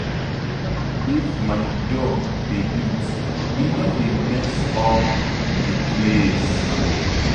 If my dog dey eat e no dey mess up the place